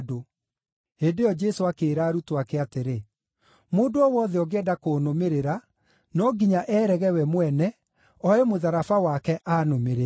Hĩndĩ ĩyo Jesũ akĩĩra arutwo ake atĩrĩ, “Mũndũ o wothe ũngĩenda kũnũmĩrĩra, no nginya eerege we mwene, oe mũtharaba wake aanũmĩrĩre.